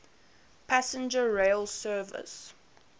passenger rail services